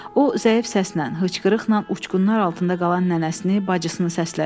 O zəif səslə, hıçqırıqla uçqunlar altında qalan nənəsini, bacısını səslədi.